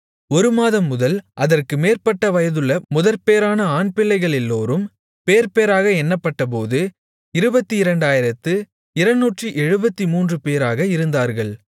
ஒரு மாதம் முதல் அதற்கு மேற்பட்ட வயதுள்ள முதற்பேறான ஆண்பிள்ளைகளெல்லோரும் பேர்பேராக எண்ணப்பட்டபோது 22273 பேராக இருந்தார்கள்